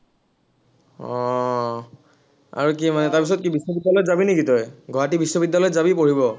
আহ আৰু কি মানে তাৰপিছত কি বিশ্ববিদ্য়ালয়ত যাবি নেকি তই, গুৱাহাটী বিশ্ববিদ্য়ালয়ত যাবি পঢ়িব?